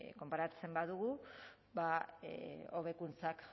konparatzen badugu ba hobekuntza